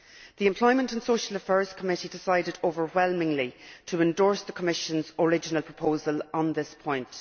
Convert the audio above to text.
The Employment and Social Affairs Committee decided overwhelmingly to endorse the Commission's original proposal on this point.